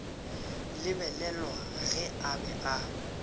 lebelelwa ge a be a